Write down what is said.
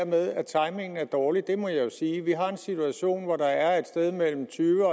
med at timingen er dårlig det må jeg jo sige vi har en situation hvor der er et sted mellem